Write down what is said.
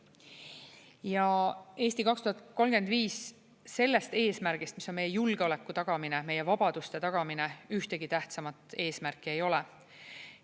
Ja "Eesti 2035" sellest eesmärgist, mis on meie julgeoleku tagamine, meie vabaduste tagamine, ühtegi tähtsamat eesmärki ei ole.